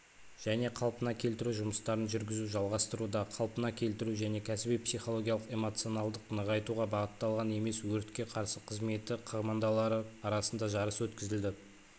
және қалпына келтіру жұмыстарын жүргізу жалғастырылуда қалпына келтіру және кәсіби психологиялық-эмоционалдық нығайтуға бағытталған емес өртке қарсы қызметі командалары арасында жарыс өткізілді